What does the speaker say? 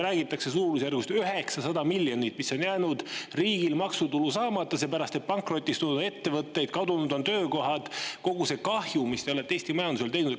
Räägitakse suurusjärgust 900 miljonit, mis on jäänud riigil maksutuluna saamata seepärast, et on pankrotistunud ettevõtted, kadunud on töökohad – kogu see kahju, mis te olete Eesti majandusele teinud.